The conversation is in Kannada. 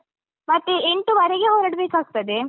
ಮತ್ತೆ ಎಂಟುವರೆಗೆ ಹೊರಡ್ಬೇಕಾಗ್ತದೆ.